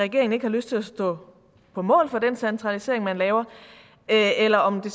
regeringen ikke har lyst til at stå på mål for den centralisering man laver eller om det